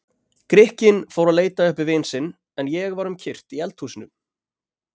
Grikkinn fór að leita uppi vin sinn, en ég var um kyrrt í eldhúsinu.